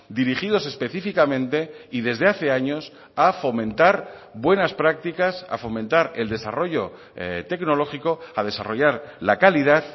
dirigidos específicamente y desde hace años a fomentar buenas prácticas a fomentar el desarrollo tecnológico a desarrollar la calidad